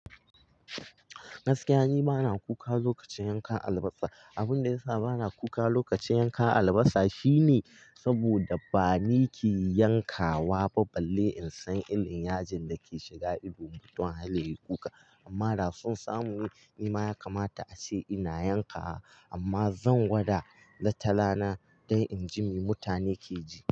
Gaskiya ni bana kuka lokacin yanka albasa. Abin da ya sa bana kuka lokacin yanka albasa shine saboda bani ki yanka wa ba balle in san irin yajin da ke shiga ido mutum har ya yi kuka. Amma daso sa mune, ni ma ya kamata a ce ina yanka wa amma zan gwada wata rana don in ji me mutane ke ji.